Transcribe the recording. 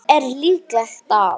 Er líklegt að